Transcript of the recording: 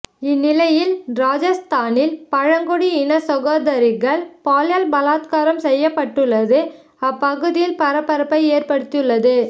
இந்நிலையில் ராஜஸ்தானில் பழங்குடி இன சகோதரிகள் பாலியல் பலாத்காரம் செய்யப் பட்டுள்ளது அப்பகுதியில் பரபரப்பை ஏற்படுத்தியுள்ளது